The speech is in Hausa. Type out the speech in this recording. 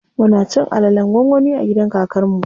Mun ci alalen gwangwani a gidan kakar mu.